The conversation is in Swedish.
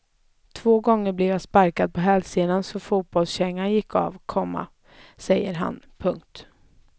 Två gånger blev jag sparkad på hälsenan så fotbollskängan gick av, komma säger han. punkt